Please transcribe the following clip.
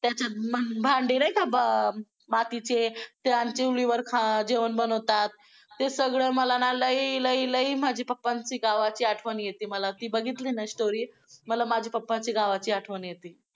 त्याच्यात भांडी नाही का मातीचे त्या चुलीवर जेवण बनवतात. ते सगळं मला ना लई लई माझ्या पप्पांची गावाची आठवण येते मला ती बघितली ना story मला पप्पांच्या गावाची आठवण येते.